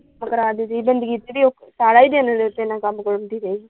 ਕੰਮ ਕਰਾ ਦਿੰਦੀ ਬੰਦਗੀ ਚ ਓਹ ਸਾਰਾ ਹੀ ਦਿਨ ਤੇਰੇ ਨਾਲ ਕੰਮ ਕਰਾਉਂਦੀ ਰਹੀ।